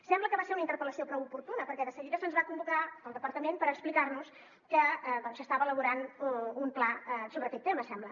sembla que va ser una interpel·lació prou oportuna perquè de seguida se’ns va convocar pel departament per explicar·nos que s’estava elaborant un pla sobre aquest tema sembla